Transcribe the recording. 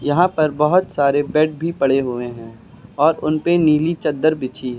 यहां पर बहोत सारे बेड भी पड़े हुए हैं और उनपे नीली चद्दर बिछी है।